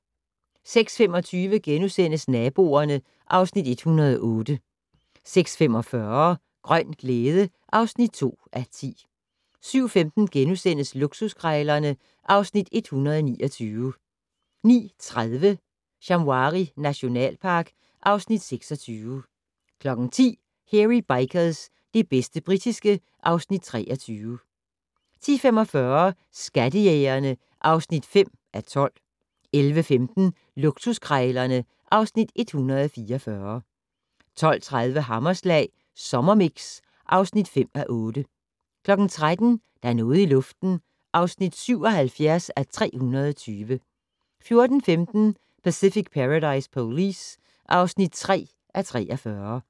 06:25: Naboerne (Afs. 108)* 06:45: Grøn glæde (2:10) 07:15: Luksuskrejlerne (Afs. 129)* 09:30: Shamwari nationalpark (Afs. 26) 10:00: Hairy Bikers - det bedste britiske (Afs. 23) 10:45: Skattejægerne (5:12) 11:15: Luksuskrejlerne (Afs. 144) 12:30: Hammerslag Sommermix (5:8) 13:00: Der er noget i luften (77:320) 14:15: Pacific Paradise Police (3:43)